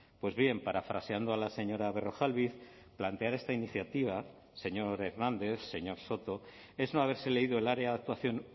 pues bien parafraseando a la señora berrojalbiz plantear esta iniciativa señor hernández señor soto es no haberse leído el área de actuación